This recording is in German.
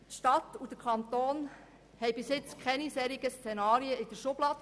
Die Stadt und der Kanton haben bisher keinen Plan für solche Szenarien in der Schublade.